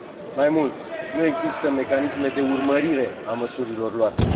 Mai mult, nu există mecanisme de urmărire a măsurilor luate.